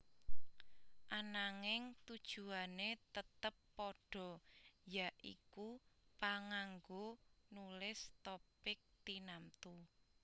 Ananging tujuané tetep padha ya iku panganggo nulis topik tinamtu